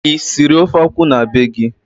Ị siri ofe akwụ na be gị?